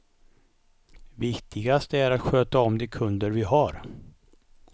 Viktigast är att sköta om de kunder vi har.